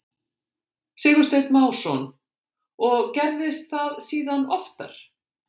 Sigursteinn Másson: Og gerðist það síðan oftar?